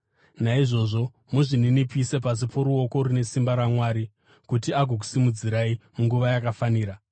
Naizvozvo, muzvininipise, pasi poruoko rune simba rwaMwari, kuti agokusimudzirai munguva yakafanira.